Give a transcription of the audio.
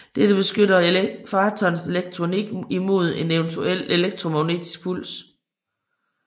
Dette beskytter fartøjernes elektronik i mod en eventuel elektromagnetiske puls